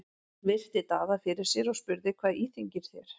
Hún virti Daða fyrir sér og spurði:-Hvað íþyngir þér?